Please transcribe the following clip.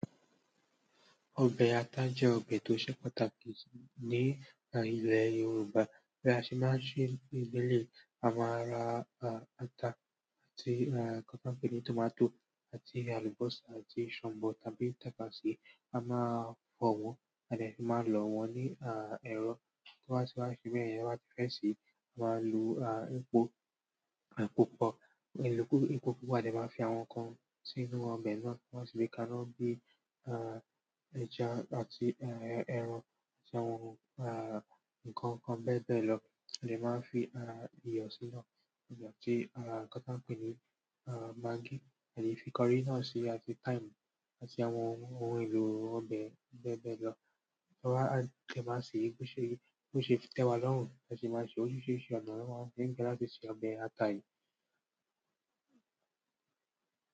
Ọbẹ̀ ata jẹ́ ọbẹ̀ tó ṣe pàtàkì ní ilẹ̀ Yorùbá. Bí a ṣe máa ṣe ìgbẹ́lẹ̀, a máa ra ata àti nkàn tiwon npení tòmátò àti àlùbósà àti shọ̀bọ̀ tàbí tàtàse, a máa fọ̀ wọ́n, a dẹ sì máa lọ wọ́n ní ẹ̀rọ tó bá ti ṣe bẹyen tí wọ́n báti fẹ́ ṣe, a máa lo epo pupa, epo pupa, a dẹ máa fi àwọn nǹkan sínú ọbẹ̀ náà tí wọ́n sì gbè kaná bí ẹja àti ẹran àti àwọn ohun ìkànkan bẹ́ẹ̀ bẹ́ẹ̀ lọ. A lè máa fi iyọ̀ sínú, ati nkan ti an pení magí, a lè fi curry náà síi àti thyme àti àwọn ohun èlò ọbẹ̀ bẹ́ẹ̀ bẹ́ẹ̀ lọ. Tí wọ́n bá ti máa sè é, bó ṣe ti tẹwá lọ́rùn, a sì máa ṣe órisiriṣí ọná niwọn maa fi ngbà latí ṣe ọbẹ̀ ata yìí.